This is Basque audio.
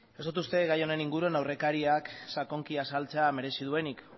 ez dut uste gai honen inguruan aurrekariak sakonki azaltzea merezi duenik